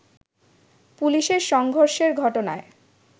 পুলিশের সংঘর্ষের ঘটনায়